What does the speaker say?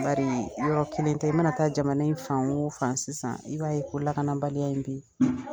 Bariyɔrɔ kelen tɛ i mana taa jamana in fan o fan sisan i b'a ye ko lakanabaliya in be ye